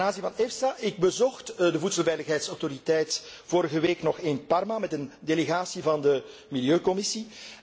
Ten aanzien van EFSA ik bezocht de Voedselveiligheidsautoriteit vorige week nog in Parma met een delegatie van de Milieucommissie.